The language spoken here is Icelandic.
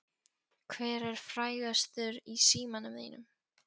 Hver er frægastur í símanum þínum?